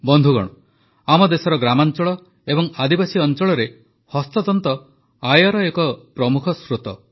ବନ୍ଧୁଗଣ ଆମ ଦେଶର ଗ୍ରାମାଞ୍ଚଳ ଏବଂ ଆଦିବାସୀ ଅଞ୍ଚଳରେ ହସ୍ତତନ୍ତ ଆୟର ଏକ ପ୍ରମୁଖ ସ୍ରୋତ